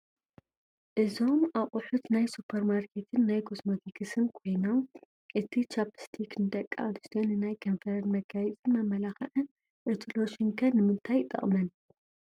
እዞም ኣቑሑት ናይ ሱፐርማርኬትን ናይ ኮስማቲክስን ኮይኖም እቲ ቻኘስቲክ ንደቂ ኣንስትዮ ንናይ ከንፈረን መጋየፂን መመላኽዕን፣ እቲ ሎሽን ከ ንምንታይ ይጠቕመን?